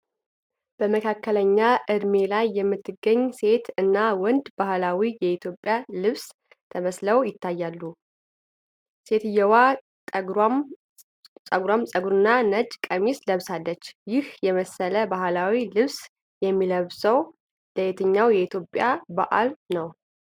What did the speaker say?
በመካከለኛ ዕድሜ ላይ የምትገኝ ሴት እና ወንድ በባህላዊ የኢትዮጵያ ልብስ ተመስለው ይታያሉ። ሴትየዋ ጠጉራም ጸጉርና ነጭ ቀሚስ ለብሳለች፣ ይህ የመሰለ ባሕላዊ ልብስ የሚለብሰው ለየትኛው የኢትዮጵያ በዓል ነው?